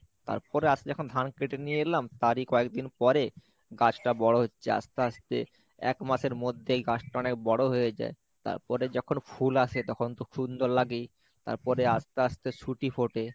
তারপরে আস্তে যখন ধান কেটে নিয়ে এলাম তারই কয়েকদিন পরে গাছটা বড়ো হচ্ছে আস্তে আস্তে এক মাসের মধ্যেই গাছটা অনেক বড়ো হয়ে যায় তারপরে যখন ফুল আসে তখন তো সুন্দর লাগেই তারপরে আস্তে আস্তে সুটি ফোটে।